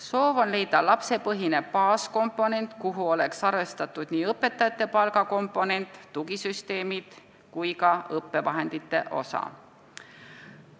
Soov on leida lapsepõhine baaskomponent, millesse oleks arvestatud nii õpetajate palk, tugisüsteemide kui ka õppevahendite kulu.